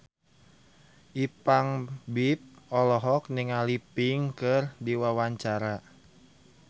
Ipank BIP olohok ningali Pink keur diwawancara